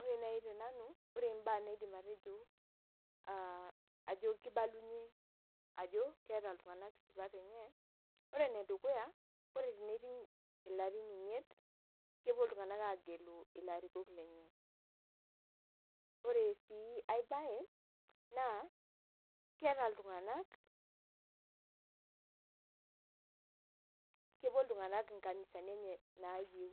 Ore nai tenanu, ore mbaa naidim atejo, ah ajo kibalunye, ajo keeta iltung'anak isipat enye, ore enedukuya, ore teneiting' ilarin imiet, kepuo iltung'anak agelu ilarikok lenye. Ore si ai bae, naa, keeta iltung'anak kepuo iltung'anak nkanisani enye naayieu.